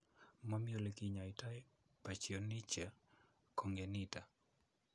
Momii ole kinyoitoi Pachyonychia congenita .